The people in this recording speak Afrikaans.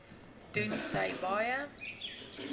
doen sy baie